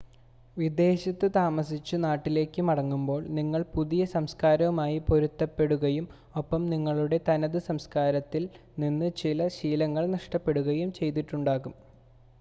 വിദേശത്ത് താമസിച്ച് നാട്ടിലേക്ക് മടങ്ങുമ്പോൾ നിങ്ങൾ പുതിയ സംസ്കാരവുമായി പൊരുത്തപ്പെടുകയും ഒപ്പം നിങ്ങളുടെ തനത് സംസ്കാരത്തിൽ നിന്ന് ചില ശീലങ്ങളും നഷ്‌ടപ്പെടുകയും ചെയ്തിട്ടുണ്ടാകും